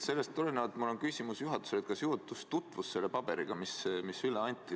Sellest tulenevalt on mul küsimus juhatusele: kas juhatus tutvus selle paberiga, mis üle anti?